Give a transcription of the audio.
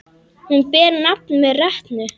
Hún ber nafn með rentu.